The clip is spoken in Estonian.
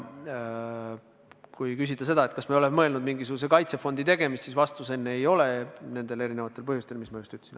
Kui küsida, kas me oleme mõelnud mingisuguse kaitsefondi tegemisele, siis vastus on: ei ole, nendel erinevatel põhjustel, mis ma just ütlesin.